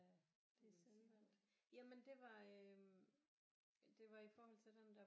Det er selvvalgt jamen det var øh det var i forhold til den der